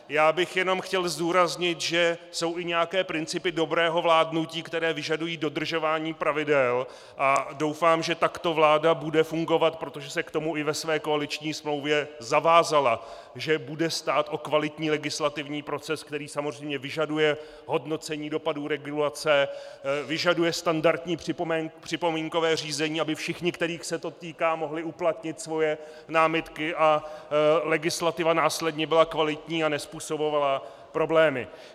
Já bych jenom chtěl zdůraznit, že jsou i nějaké principy dobrého vládnutí, které vyžadují dodržování pravidel, a doufám, že takto vláda bude fungovat, protože se k tomu i ve své koaliční smlouvě zavázala, že bude stát o kvalitní legislativní proces, který samozřejmě vyžaduje hodnocení dopadů regulace, vyžaduje standardní připomínkové řízení, aby všichni, kterých se to týká, mohli uplatnit svoje námitky a legislativa následně byla kvalitní a nezpůsobovala problémy.